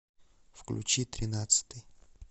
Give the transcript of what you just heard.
включи тринадцатый